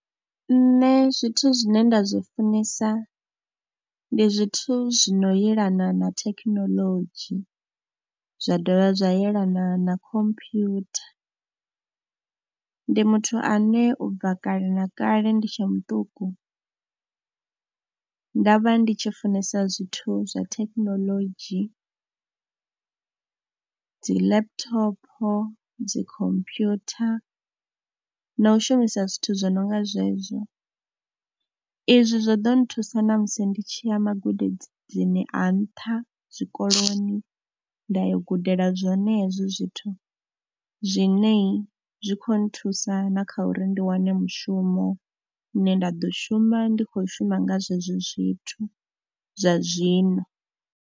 Nṋe zwithu zwine nda zwi funesa ndi zwithu zwi no yelana na thekhinolodzhi zwa dovha zwa yelana na computer. Ndi muthu ane u bva kale na kale ndi tshe muṱuku ndo vha ndi tshi funesa zwithu zwa thekinoḽodzhi, dzi laptop, dzi computer na u shumisa zwithu zwi no nga zwezwo. Izwi zwo ḓo nthusa namusi ndi tshi ya magudedzini a nṱha zwikoloni, nda yo gudela zwenezwo zwithu zwine zwi khou nthusa na kha uri ndi wane mushumo une nda ḓo shuma ndi khou shuma nga zwezwo zwithu zwa zwino.